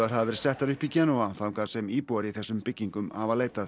hafa verið settar upp í Genúa þangað sem íbúar í þessum byggingum hafa leitað